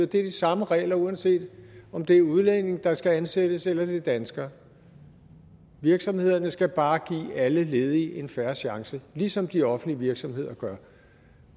det er de samme regler uanset om det er udlændinge der skal ansættes eller det er danskere virksomhederne skal bare give alle ledige en fair chance ligesom de offentlige virksomheder gør